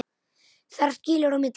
Þar skilur á milli.